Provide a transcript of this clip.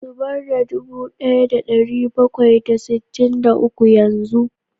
Zubar da dubu daya da dari bakwai da sittin da uku yanzu